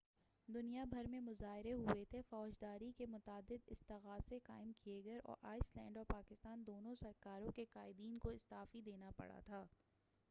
دنیا بھر میں مظاہرے ہوئے تھے فوجداری کے متعدد استغاثے قائم کئے گئے اور آئس لینڈ اور پاکستان دونوں سرکاروں کے قائدین کو استعفی دینا پڑا تھا